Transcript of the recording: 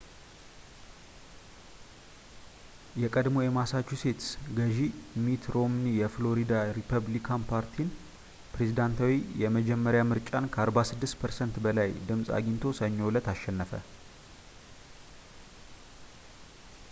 የቀድሞው የማሳቹሴትስ ገዢ ሚት ሮምኒ የፍሎሪዳ ሪፐብሊካን ፓርቲን ፕሬዝዳንታዊ የመጀመሪያ ምርጫን ከ46 ፐርሰንት በላይ ድምፅ አግኝቶ ሰኞ እለት አሸነፈ